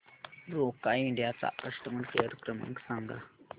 Roca India चा customer care क्रमांक सांगा